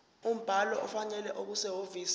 umbhalo ofanele okusehhovisi